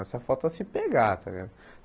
Nós só faltou se pegar, tá ligado?